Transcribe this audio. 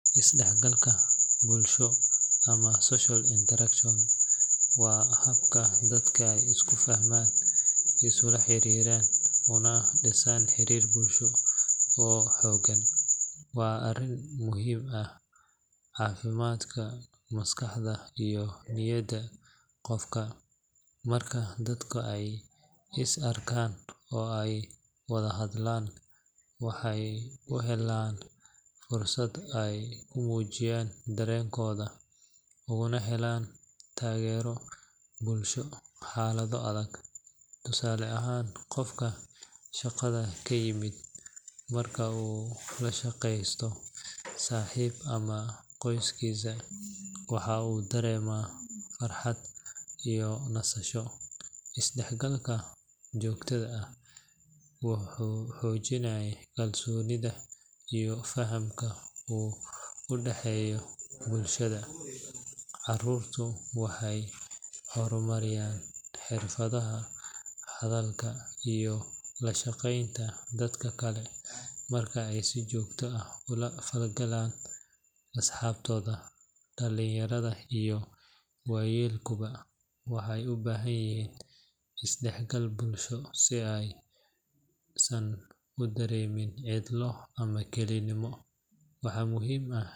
Is-dhexgalka bulsho ama social interaction waa habka dadka ay isku fahmaan, isula xiriiraan, una dhisaan xiriir bulsho oo xoogan. Waa arrin muhiim u ah caafimaadka maskaxda iyo niyadda qofka. Marka dadka ay is arkaan oo ay wada hadlaan, waxa ay helaan fursad ay ku muujiyaan dareenkooda, ugana helaan taageero bulsho xaalado adag. Tusaale ahaan, qofka shaqada ka yimid marka uu la sheekeysto saaxiib ama qoyskiisa, waxa uu dareemaa farxad iyo nasasho. Is-dhexgalka joogtada ah wuxuu xoojiyaa kalsoonida iyo fahamka u dhexeeya bulshada. Carruurtu waxay horumariyaan xirfadaha hadalka iyo la shaqeynta dadka kale marka ay si joogto ah ula falgalaan asxaabtooda. Dhalinyarada iyo waayeelkuba waxay u baahan yihiin isdhexgal bulsho si aysan u dareemin cidlo ama kelinimo. Waxaa muhiim ah.